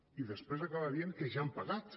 i després acaba dient que ja han pagat